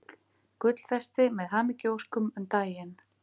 Gullfesti með hamingjuóskum um daginn.